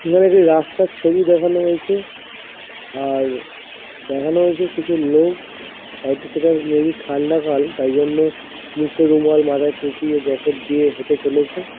এখানে একটি রাস্তার ছবি দেখানো হয়েছে| আআআর দেখানো হয়েছে কিছু লোক হয়তো সেটা মেবি ঠান্ডাকাল তাই জন্য মুখে রুমাল মাথায় টোপি ও জ্যাকেট দিয়ে হেটে চলেছে।